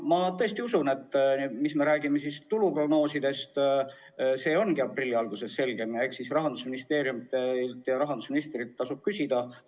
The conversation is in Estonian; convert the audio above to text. Ma tõesti usun, et tulu prognoosid ongi aprilli alguses selgemad ja eks siis tasub Rahandusministeeriumilt ja rahandusministrilt küsida.